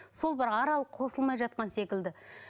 сол бір арал қосылмай жатқан секілді